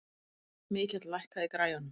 Mikjáll, lækkaðu í græjunum.